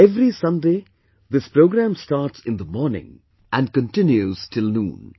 Every Sunday this program starts in the morning and continues till noon